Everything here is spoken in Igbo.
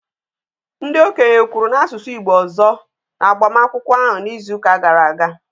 Ndị okenye kwuru n'asụsụ Igbo ọzọ n'agbamakwụkwọ ahụ n'izuụka gara aga